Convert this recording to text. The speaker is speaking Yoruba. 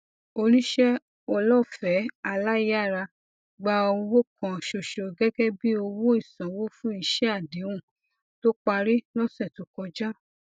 oníṣẹ olóòfẹ aláyàrá gba owó kan ṣoṣo gẹgẹ bí owó ìsanwó fún iṣẹ àdéhùn tó parí lọsẹ tó kọjá